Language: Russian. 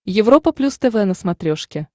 европа плюс тв на смотрешке